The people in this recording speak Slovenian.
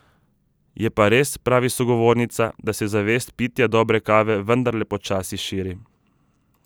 Je pa res, pravi sogovornica, da se zavest pitja dobre kave vendarle počasi širi.